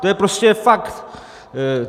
To je prostě fakt.